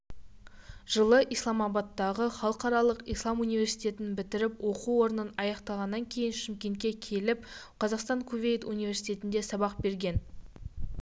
жылы исламабадтағы халықаралық ислам университетінбітірген оқу орнын аяқтағаннан кейін шымкентке келіп қазақстан-кувейт университетінде сабақ берген